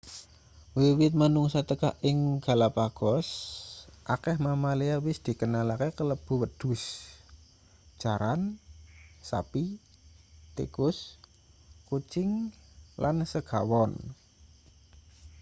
wiwit manungsa teka ing galapagos akeh mamalia wis dikenalake kalebu wedhus jaran sapi tikus kucing lan segawon